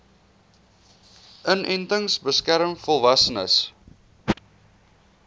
inenting beskerm volwassenes